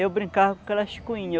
Eu brincava com aquelas coinhas.